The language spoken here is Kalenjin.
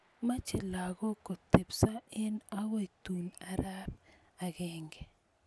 moche lakok kotepsoo eng akoi tun arap agenge